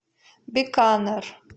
биканер